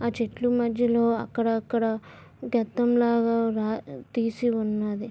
అ ఆ చెట్లు మధ్యలో అక్కడక్కడ గతం లాగా తీసి ఉన్నది.